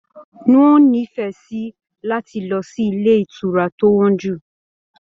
N o n'ifẹ sí láti lọ sí ilé ìtura to wọn jú.